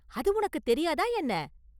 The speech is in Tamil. அது உனக்குத் தெரியாதா, என்ன?